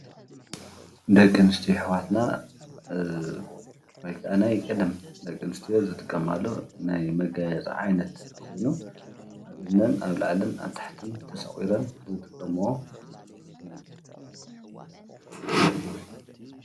ደቂ ኣነስትዮ ኣሕዋትና ወይ ከዓ ናይ ቀደም ደቂ ኣነስትዮ ዝጠቀማሉ ናይ መጋየፂ ዓይነት ኮይኑ ኣብ እዝነን ኣብ ላዕልን ኣብ ታሕትን ተሰቁረን ዝጥቀመኦ እዩ፡፡